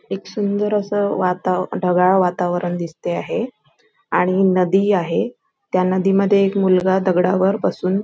एक सुंदर अस वातावरण ढगाळ वातावरण दिसते आहे आणि एक नदी आहे त्या नदीमध्ये एक मुलगा दगडा वर बसून--